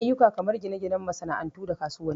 Ayyuka kamar gina ginan masa'antu da kasuwanni